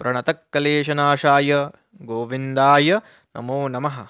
प्रणतक्लेशनाशाय गोविन्दाय नमोः नमः